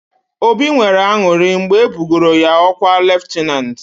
Obi nwere aṅụrị mgbe e bugoro ya ọkwa leftanantị.